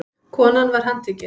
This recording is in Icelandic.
Konan var handtekin